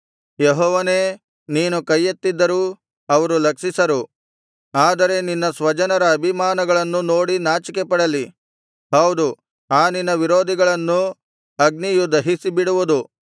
ಯೆಹೋವನೇ ನೀನು ಕೈಯೆತ್ತಿದ್ದರೂ ಅವರು ಲಕ್ಷಿಸರು ಆದರೆ ನಿನ್ನ ಸ್ವಜನರ ಅಭಿಮಾನವನ್ನು ನೋಡಿ ನಾಚಿಕೆಪಡಲಿ ಹೌದು ಆ ನಿನ್ನ ವಿರೋಧಿಗಳನ್ನು ಅಗ್ನಿಯು ದಹಿಸಿಬಿಡುವುದು